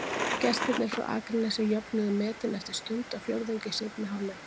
Gestirnir frá Akranesi jöfnuðu metin eftir stundarfjórðung í seinni hálfleiknum.